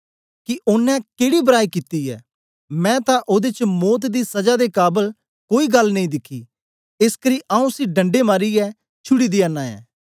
ओनें त्री बार उनेंगी आखया कि ओनें केड़ी बराई कित्ती ऐ मैं तां ओदे च मौत दी सजा दे काबल कोई गल्ल नेई दिखी एसकरी आऊँ उसी डंडे मारीयै छुड़ी दया नां ऐं